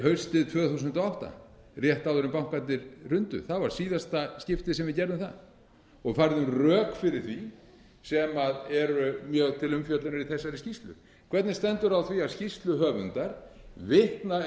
haustið tvö þúsund og átta rétt áður en bankarnir hrundu það var síðasta skiptið sem við gerðum það og færðum rök fyrir því sem eru mjög til umfjöllunar í þessari skýrslu hvernig stendur á því að skýrsluhöfundar vitna